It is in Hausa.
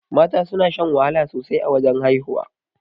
Mata suna shan wahala sosai a wajan haihuwa.